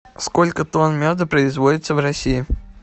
сколько тонн меда производится в россии